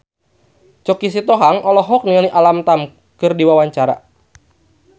Choky Sitohang olohok ningali Alam Tam keur diwawancara